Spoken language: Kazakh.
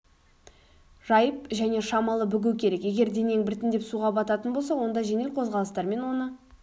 жайып және шамалы бүгу керек егер денең біртіндеп суға бататын болса онда жеңіл қозғалыстармен оны